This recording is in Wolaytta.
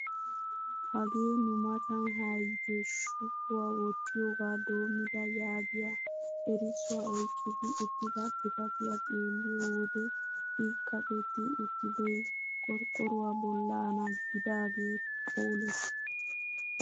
Hagee nu matan haayite shupuwaa wottiyoogaa doomida yaagiyaa erissuwaa oyqqidi uttida xifatiyaa xeelliyoo wode i kaqetti uttidoy qorqqoruwaa bollana gidagee phoolees.